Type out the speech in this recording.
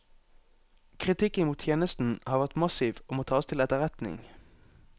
Kritikken mot tjenesten har vært massiv og må tas til etterretning.